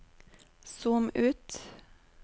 zoom ut